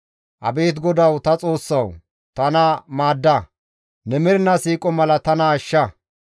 Abeet GODAWU ta Xoossawu! Tana maadda; ne mernaa siiqo mala tana ashsha.